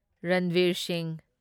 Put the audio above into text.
Ranveer Singh